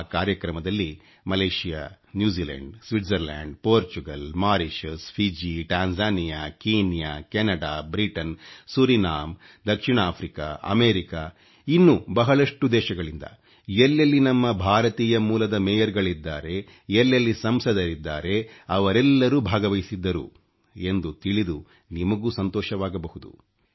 ಆ ಕಾರ್ಯಕ್ರಮದಲ್ಲಿ Malaysia New Zealand Switzerland Portugal Mauritius Fiji Tanzania Kenya Canada Britain Suriname ದಕ್ಷಿಣ Africa America ಇನ್ನೂ ಬಹಳಷ್ಟು ದೇಶಗಳಿಂದ ಎಲ್ಲೆಲ್ಲಿ ನಮ್ಮ ಭಾರತೀಯ ಮೂಲದ ಮೇಯರ್ ಗಳಿದ್ದಾರೆ ಎಲ್ಲೆಲ್ಲಿ ಸಂಸದರಿದ್ದಾರೆ ಅವರೆಲ್ಲರೂ ಭಾಗವಹಿಸಿದ್ದರು ಎಂದು ತಿಳಿದು ನಿಮಗೂ ಸಂತೋಷವಾಗಬಹುದು